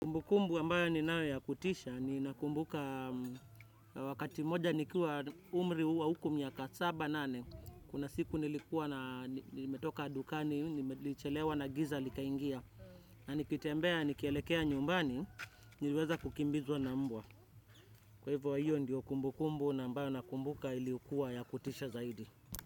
Kumbu kumbu ambayo ni nayo ya kutisha ni nakumbuka wakati mmoja nikiwa umri huu wa huku miaka saba nane. Kuna siku nilikuwa na nimetoka dukani, nilichelewa na giza likaingia. Na nikitembea, nikielekea nyumbani, niliweza kukimbizwa na mbwa. Kwa hivyo hiyo ndiyo kumbu kumbu na ambayo na kumbuka ilikuwa ya kutisha zaidi.